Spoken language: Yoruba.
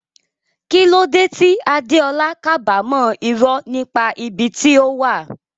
Kí ló dé tí Adeola kábàámọ̀ irọ́ nípa ibi tí ó wà?